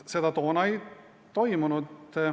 Seda toona ei toimunud.